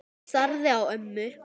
Ég starði á ömmu.